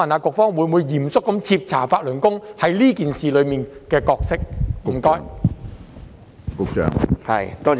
局方會否嚴肅徹查法輪功在這事件所擔當的角色？